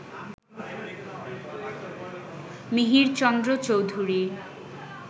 Mihirchandra Chowdhury